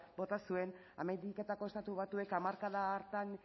bota zuen ameriketako estatu batuek hamarkada hartan